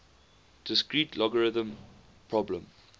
discrete logarithm problem